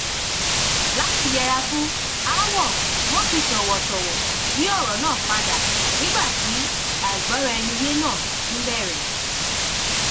láti yẹra fún aáwò wón fi tòwòtòwò yí òrò náà padà nígbà tí àìgbóraẹniyé náà tún bèrè